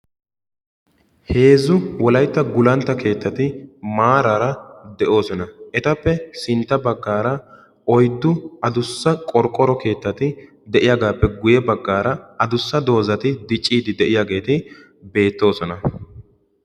Heezzu wolaytta gulantta keettati maaraara de'oosona. Etappe sintta baggaara oyddu adussa qoriqoro keettati de'iyaagaappe guyye baggaara adussa doozati dicciiddi de'iyaageeti beettosona.